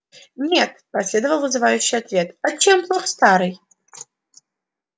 нет последовал вызывающий ответ а чем плох старый